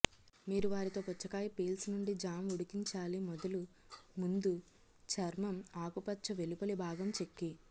మీరు వారితో పుచ్చకాయ పీల్స్ నుండి జామ్ ఉడికించాలి మొదలు ముందు చర్మం ఆకుపచ్చ వెలుపలి భాగం చెక్కి